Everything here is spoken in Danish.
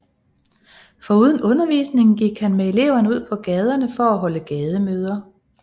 Foruden undervisningen gik han med eleverne ud på gaderne for at holde gademøder